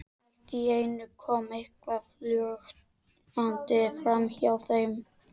Allt í einu kom eitthvað fljúgandi framhjá þeim.